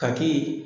Ka k'i